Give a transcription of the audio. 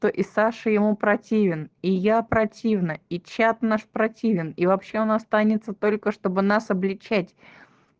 то и саша ему противен и я противна и чат наш противен и вообще он останется только чтобы нас обличать